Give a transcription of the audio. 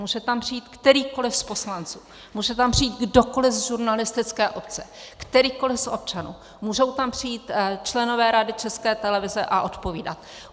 Může tam přijít kterýkoliv z poslanců, může tam přijít kdokoliv z žurnalistické obce, kterýkoliv z občanů, můžou tam přijít členové Rady České televize a odpovídat.